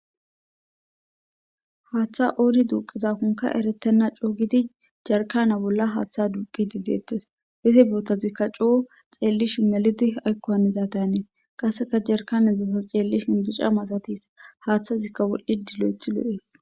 Haaththa oori duuqizakonka eretenna cougidi jarkana bolla haaththa duqi dideettes izi bootazikka cuo xeellish melidi aykoanidatenee qasseka jerkanedzata ceellishin bicca masatis haaththazikka wolh7hi dilo7ethi lo7ees.